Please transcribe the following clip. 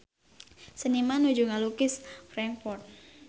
Seniman nuju ngalukis Frankfurt